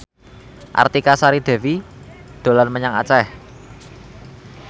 Artika Sari Devi dolan menyang Aceh